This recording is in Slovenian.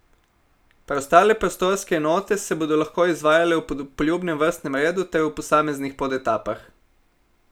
Preostale prostorske enote se bodo lahko izvajale v poljubnem vrstnem redu ter v posameznih podetapah.